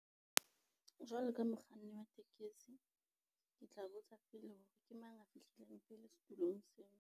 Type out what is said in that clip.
Jwalo ka mokganni wa tekesi, ke tla botsa pele hore ke mang a fihlileng pele setulong seo.